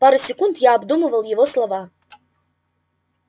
пару секунд я обдумывал его слова